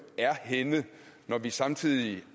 er henne når vi samtidig